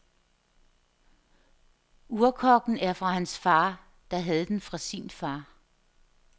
Urkokken er fra hans far, der havde den fra sin far.